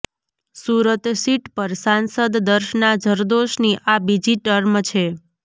Surat seat પર સાંસદ દર્શના જરદોશની આ બીજી ટર્મ છે